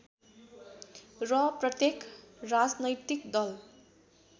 र प्रत्येक राजनैतिक दल